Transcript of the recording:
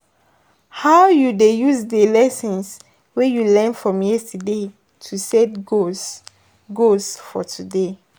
how you dey use di lessons wey you learn from yesterday to set goals goals for today?>